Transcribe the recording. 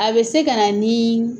A bɛ se ka na ni